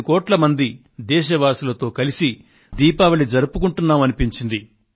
125 కోట్ల మంది దేశవాసులతో కలిసి దీపావళి జరుపుకొంటున్నా మనిపించింది